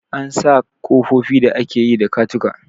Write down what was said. An sa kofofi da ake yi da katako.